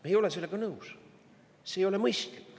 Me ei ole sellega nõus, see ei ole mõistlik.